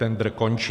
Tendr končí.